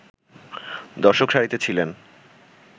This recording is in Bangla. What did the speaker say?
দর্শক সারিতে ছিলেন